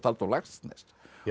Halldór Laxness